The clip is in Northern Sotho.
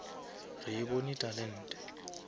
re e bone talente